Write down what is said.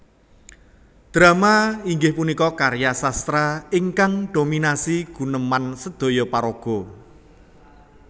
Drama inggih punika karya sastra ingkang dominasi guneman sedhoyo paraga